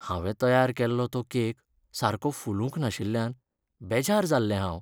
हांवें तयार केल्लो तो केक सारको फुलूंक नाशिल्ल्यान बेजार जाल्लें हांव.